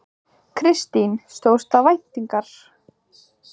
Kristín: Stóðst það væntingar?